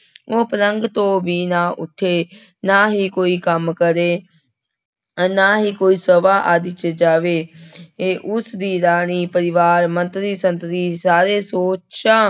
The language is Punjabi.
ਉਹ ਪਲੰਘ ਤੋਂ ਵੀ ਨਾ ਉੱਠੇ, ਨਾ ਹੀ ਕੋਈ ਕੰਮ ਕਰੇ, ਨਾ ਹੀ ਕੋਈ ਸਭਾ ਆਦਿ ਚ ਜਾਵੇ ਏ ਉਸਦੀ ਰਾਣੀ, ਪਰਿਵਾਰ, ਮੰਤਰੀ ਸੰਤਰੀ ਸਾਰੇ ਸੋਚਾਂ